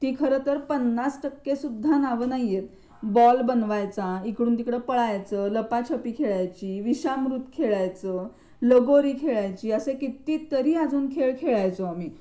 ती खरतर 50% सुद्धा नाव नाही बॉल बनवायचा इकडून तिकडे पळायच लपाछपी खेळायची विषामृत खेळायच लगोरी खेळायची असे किती तरी अजून एक खेळ खेळायचो आम्ही